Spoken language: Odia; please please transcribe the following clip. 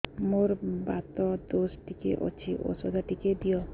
ମୋର୍ ବାତ ଦୋଷ ଟିକେ ଅଛି ଔଷଧ ଟିକେ ଦିଅ